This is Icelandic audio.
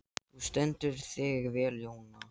Þú stendur þig vel, Jónar!